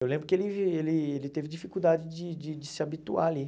Eu lembro que ele ele ele teve dificuldade de de de se habituar ali.